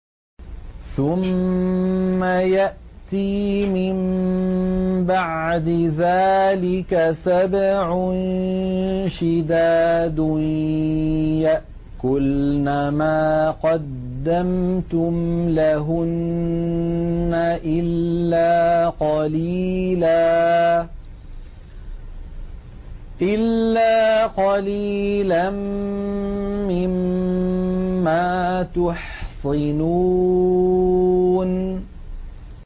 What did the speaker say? ثُمَّ يَأْتِي مِن بَعْدِ ذَٰلِكَ سَبْعٌ شِدَادٌ يَأْكُلْنَ مَا قَدَّمْتُمْ لَهُنَّ إِلَّا قَلِيلًا مِّمَّا تُحْصِنُونَ